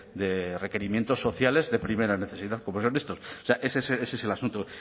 de requerimientos sociales de primera necesidad como eran estos o sea ese es el asunto